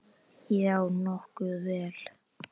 Já, nokkuð vel.